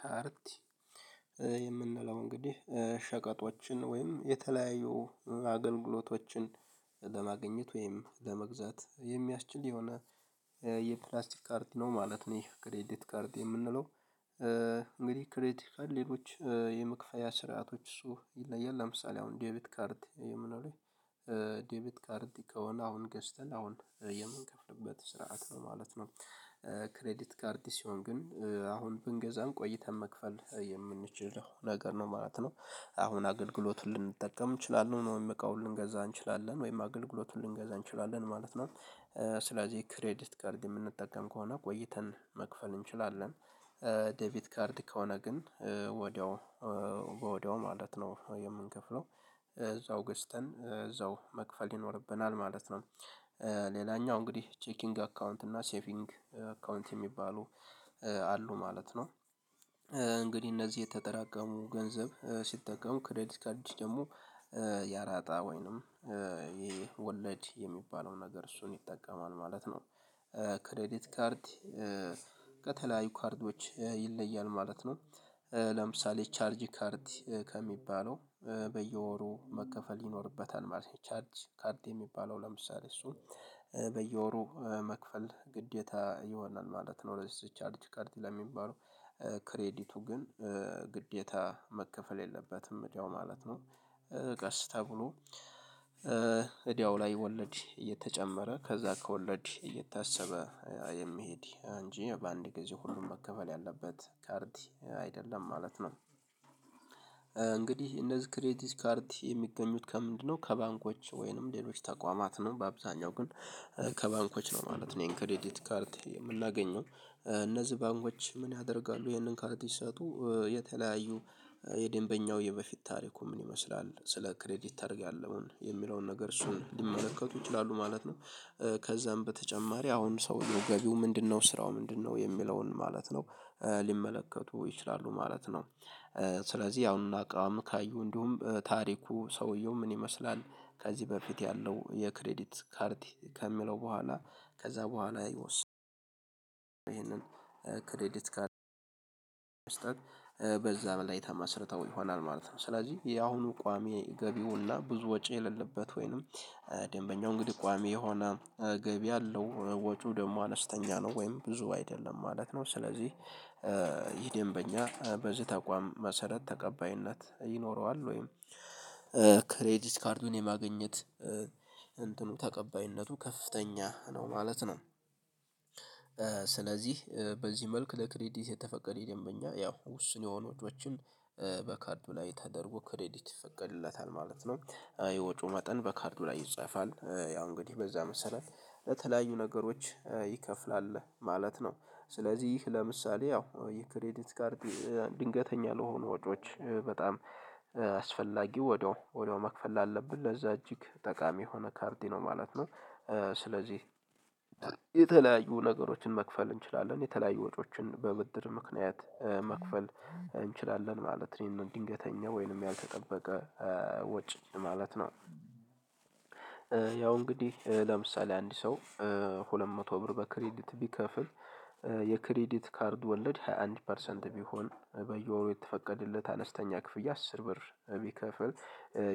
ካርቲ የምንለው እንግዲህ ሸቀጦችን ወይም የተለያዩ አገልግሎቶችን ለማግኘት ወይም ለመግዛት የሚያስችል የሆነ የፕላስቲክ ካርድ ነው ማለት ነው ይሄ ክሬዲት ካርድ የምንለው። እንግዲህ ክሬዲትካል ሌሎች የመክፈያ ስርዓቶች እሱ ይለያል ለምሳሌ አሁን ዴቢት ካርድ የምንለው ዴቢት ካርድ ከሆነ አሁን ገዝተን አሁን የምንከፍልበት ስርዓት ነው ማለት ነው። ክሬዲት ካርድ ሲሆን ግን አሁን ብንገዛም ቆይተን መክፈል የምንችለው ነገር ነው ማለት ነው። አሁን አገልግሎቱን ልንጠቀም እንችላለን ወይም እቃው ልንገዛ እንችላለን ወይም አገልግሎቱን ልንገዛ እንችላለን ማለት ነው። ስለዚህ ክሬዲት ካርድ የምንጠቀም ከሆነ ቆይተን መክፈል እንችላለን። ዴቪት ካርድ ከሆነ ግን ወዲያው በወዲያው ማለት ነው የምንከፍለው እዛው ገዝተን እዛው መክፈል ይኖርብናል ማለት ነው። ሌላኛው እንግዲህ ቼኪንግ አካውንት እና ሴቪንግ አካውንት የሚባሉ አሉ ማለት ነው። እንግዲህ እነዚህ የተጠራቀሙ ገንዘብ ሲጠቀሙ ክሬዲት ካርድ ደግሞ ያራጣ ወይንም ይሄ ወለድ የሚባለው ነገር እሱን ይጠቀማል ማለት ነው። ክሬዲት ካርድ ከተለያዩ ካርዶች ይለያል ማለት ነው። ለምሳሌ ቻርጅ ካርድ ከሚባለው በየወሩ መከፈል ይኖርበታል ማለት ነው ቻርጅ ካርድ የሚባለው ለምሳሌ እሱን በየወሩ መክፈል ግዴታ ይሆናል ማለት ነው። ለዚህ ቻርጅ ካርድ ለሚባለው ክሬዲቱ ግን ግዴታ መከፈል የለበትም ወዲያው ማለት ነው። ቀስ ተብሎ እዳው ላይ ወለድ እየተጨመረ ከዛ ከወለድ እየታሰበ የሚሄድ እንጂ በአንድ ጊዜ ሁሉም መከፈል ያለበት ካርድ አይደለም ማለት ነው። እንግዲህ እነዚህ ክሬዲት ካርድ የሚገኙት ከምንድነው? ከባንኮች ወይንም ሌሎች ተቋማት ነው በአብዛኛው ግን ከባንኮች ነው ማለት ነው። ይሄን ክሬዲት ካርድ የምናገኘው እነዚህ ባንኮች ምን ያደርጋሉ ይህንን ካርድ ሲሰጡ የተለያዩ የደንበኛው የበፊት ታሪኩ ምን ይመስላል ስለ ክሬዲት ታሪክ ያለውን የሚለውን ነገር እሱን ሊመለከቱ ይችላሉ ማለት ነው። ከዛም በተጨማሪ አሁን ሰው ገቢው ምንድነው? ስራው ምንድነው? የሚለውን ማለት ነው ሊመለከቱ ይችላሉ ማለት ነው። ስለዚህ አሁን አቋም ካዩ እንዲሁም ታሪኩ ሰውየው ምን ይመስላል? ከዚህ በፊት ያለው የክሬዲት ካርድ ከሚለው በኋላ ከዛ በኋላ ይሄንን ክሬዲት ካርድ መስጠት በዛ ላይ ተመስርተው ይሆናል ማለት ነው። ስለዚህ የአሁኑ ቋሚ ገቢውና ብዙ ወጪ የሌለበት ወይንም ደንበኛው እንግዲህ ቋሚ የሆነ ገቢ አለው ወጪው ደግሞ አነስተኛ ነው ወይም ብዙ አይደለም ማለት ነው። ስለዚህ ይሄ ደንበኛ በዚህ ተቋም መሰረት ተቀባይነት ይኖረዋል ወይም ክሬዲት ካርዱን የማግኘት እንትኑ ተቀባይነቱ ከፍተኛ ነው ማለት ነው። ስለዚህ በዚህ መልክ ለክሬዲት የተፈቀደ ደንበኛ ያው ውስን የሆኑ ወጪዎችን በካርድ ላይ ተደርጎ ክሬዲት ይፈቀድለታል ማለት ነው። የወጪው መጠን በካርዱ ላይ ይጻፋል ያው እንግዲህ በዛ መሰረት ለተለያዩ ነገሮች ይከፍላል ማለት ነው። ስለዚህ ለምሳሌ ያው የክሬዲት ካርድ ድንገተኛ ለሆኑ ወጪዎች በጣም አስፈላጊ ወዲያው ወዲያው መክፈል አለብን ለዛ እጅግ ጠቃሚ የሆነ ካርድ ነው ማለት ነው። ስለዚህ የተለያዩ ነገሮችን መክፈል እንችላለን የተለያዩ ወጮችን በብድር ምክንያት መክፈል እንችላለን ማለት እኔን ድንገተኛ ወይንም ያልተጠበቀ ወጪ ማለት ነው። ያው እንግዲህ ለምሳሌ አንድ ሰው ሁለት መቶ ብር በክሬዲት ቢከፍል የክሬዲት ካርድ ወለድ ሃያ አንድ ፐርሰንት ቢሆን በየወሩ የተፈቀደለት አነስተኛ ክፍያ አስር ብር ቢከፍል።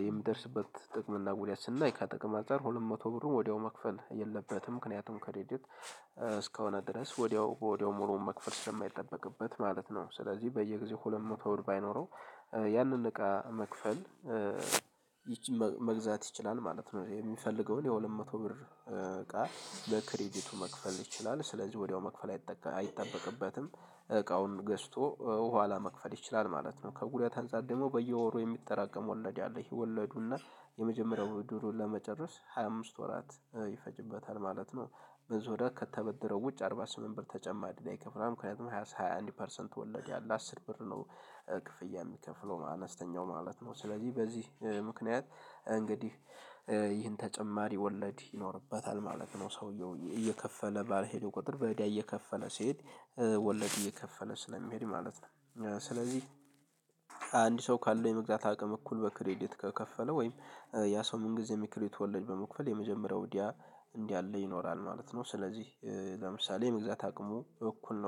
የምደርስበት ጥቅም እና ጉዳት ስናይ ከጥቅም አንፃር ሁለት መቶ ብሩን ወዲያው መክፈል የለበትም ምክንያቱም ከርዲት እስከሆነ ድረስ ወዲያው ወዲያው ሙሉውን መክፈል ስለማይጠበቅበት ማለት ነው። ስለዚህ በየጊዜው ሁለት መቶ ብር ባይኖረው ያንን እቃ መግዛት ይችላል ማለት ነው። የሚፈልገውን የሁለት መቶ ብር እቃ በክሬዲቱ መክፈል ይችላል ስለዚህ ወዲያው መክፈል አይጠበቅበትም እቃውን ገዝቶ ኋላ መክፈል ይችላል ማለት ነው። ከጉዳት አንፃር ደግሞ በየወሩ የሚጠራቀም ወለድ አለ ይወለዱና የመጀመሪያው ብድሩን ለመጨረስ ሃያ አምስት ወራት ይፈጅበታል ማለት ነው። ብዙ ብር ከተበደረው ውጭ አርባ ስምንት ብር ተጨማሪ እዳ ይከፍላል። ምክንያቱም ሃያ አንድ ፐርሰንት ወለድ ያለ አስር ብር ነው ብር ነው ክፍያ የሚከፍለው አነስተኛው ማለት ነው። ስለዚህ በዚህ ምክንያት እንግዲህ ይህን ተጨማሪ ወለድ ይኖርበታል ማለት ነው። ሰውየው እየከፈለ ባልሄደው ቁጥር በወለድ እየከፈለ ሲሄድ ወለድ እየከፈለ ስለሚሄድ ማለት ነው። ስለዚህ ሰው ካለው የመግዛት አቅም እኩል በክሬዲት ከከፈለው ወይም ያ ሰው ምን ጊዜም የክሬዲት ወለድ በመክፈል የመጀመሪያው እዳ እንዳለ ይኖራል ማለት ነው። ስለዚህ ለምሳሌ የመግዛት አቅሙ እኩል ነው